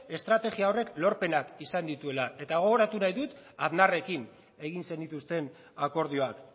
estrategia horrek lorpenak izan dituela eta gogoratu nahi dut aznarrekin egin zenituzten akordioak